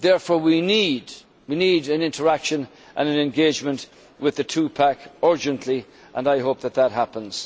Therefore, we need interaction and engagement with the two pack urgently, and I hope that this happens.